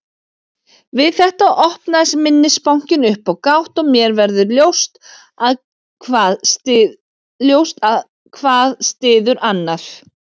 Við þetta opnast minnisbankinn upp á gátt og mér verður ljóst að hvað styður annað.